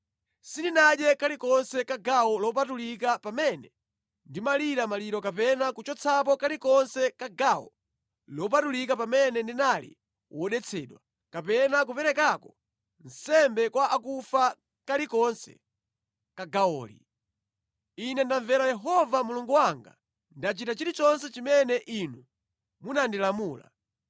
Sindinadye kalikonse ka gawo lopatulika pamene ndimalira maliro kapena kuchotsapo kalikonse ka gawo lopatulika pamene ndinali wodetsedwa, kapena kuperekako nsembe kwa akufa kalikonse ka gawoli. Ine ndamvera Yehova Mulungu wanga, ndachita chilichonse chimene inu munandilamula.